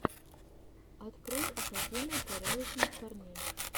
открой академия порядочных парней